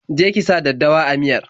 Je ki sa daddawa a miyar!